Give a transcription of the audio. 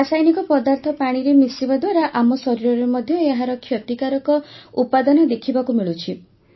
ରାସାୟନିକ ପଦାର୍ଥ ପାଣିରେ ମିଶିବା ଦ୍ୱାରା ଆମ ଶରୀରରେ ମଧ୍ୟ ଏହାର କ୍ଷତିକାରକ ଉପାଦାନ ଦେଖିବାକୁ ମିଳୁଛି